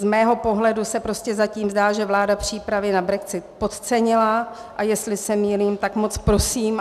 Z mého pohledu se prostě zatím zdá, že vláda přípravy na brexit podcenila, a jestli se mýlím, tak moc prosím.